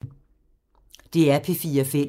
DR P4 Fælles